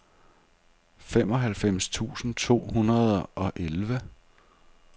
femoghalvfems tusind to hundrede og elleve